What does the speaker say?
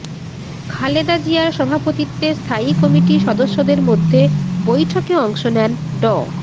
খালেদা জিয়ার সভাপতিত্বে স্থায়ী কমিটি সদস্যদের মধ্যে বৈঠকে অংশ নেন ড